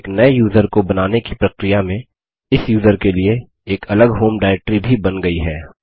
एक नये यूज़र को बनाने की प्रक्रिया में इस यूज़र के लिए एक अलग होम डाईरेक्ट्री भी बन गयी है